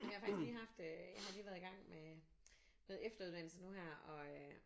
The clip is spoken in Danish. Jeg har faktisk lige haft øh jeg har lige været i gang med noget efteruddannelse nu her og øh